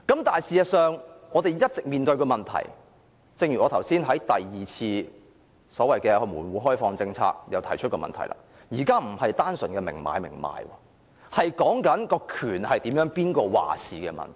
但是，事實上，正如我剛才談及第二次門戶開放政策時也提出一個問題，現在不是單純的明買明賣關係，而是誰人擁有話事權的問題。